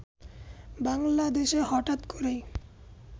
বাংলাদেশে হঠাৎ করেই